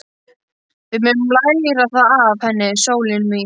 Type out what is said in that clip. Við megum læra það af henni, sólin mín.